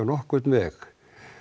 nokkurn veg